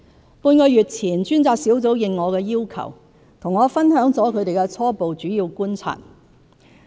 半個月前，專責小組應我的要求，和我分享了他們的初步主要觀察。